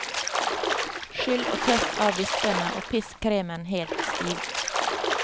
Skyll og tørk av vispene og pisk kremen helt stiv.